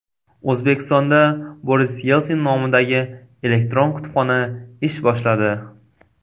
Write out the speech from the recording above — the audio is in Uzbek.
O‘zbekistonda Boris Yelsin nomidagi elektron kutubxona ish boshladi.